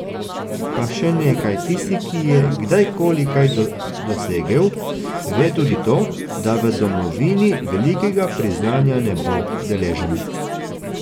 Pa še nekaj, tisti, ki je kdajkoli kaj dosegel, ve tudi to, da v domovini velikega priznanja ne bo deležen.